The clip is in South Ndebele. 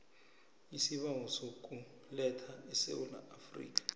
isibawo sokuletha esewula